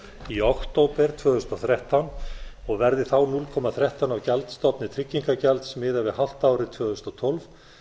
í október tvö þúsund og þrettán og verði þá núll komma þrettán af gjaldstofni tryggingagjalds miðað við hálft árið tvö þúsund og tólf